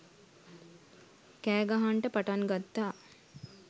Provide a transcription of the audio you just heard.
කෑ ගහන්ට පටන් ගත්තා.